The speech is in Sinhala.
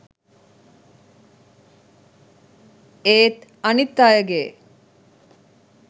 ඒත් අනිත් අයගේ